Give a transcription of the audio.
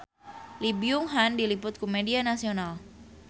Lee Byung Hun diliput ku media nasional